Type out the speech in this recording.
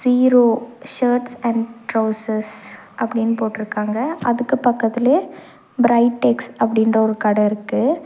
Zero shirts and trousers அப்படீனு போட்ருக்காங்க அதுக்கு பக்கத்துலயே பிரைடெக்ஸ் அப்படீனு ஒரு கட இருக்கு.